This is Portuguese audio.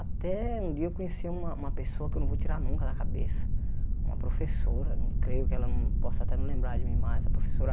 Até um dia eu conheci uma uma pessoa que eu não vou tirar nunca da cabeça, uma professora, não creio que ela não possa até não lembrar de mim mais, a professora